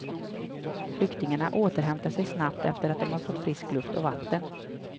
Flyktingarna återhämtade sig snabbt efter att de fått frisk luft och vatten.